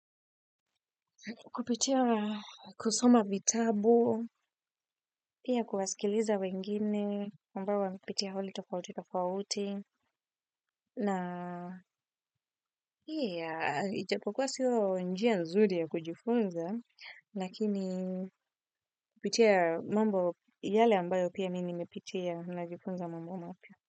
Kupitia kusoma vitabu, pia kuwasikiliza wengine, ambao wamepitia hali tofauti tofauti, na ijapokuwa siyo njia nzuri ya kujifunza, lakini kupitia mambo yale ambayo pia mi nimepitia najifunza mambo mapya.